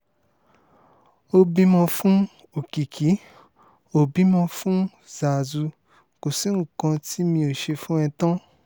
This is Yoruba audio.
ó bímọ fún òkìkí ò bímọ fún záázu kò sí nǹkan tí mi ò ṣe fún ẹ tán